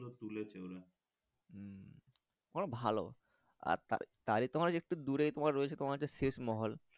হম ওরা ভালো তাই তোমার রয়েছে একটু দূরে রয়েছে তোমার একটি শেষ মহল।